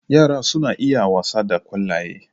Yara suna iya wasa da ƙwallaye.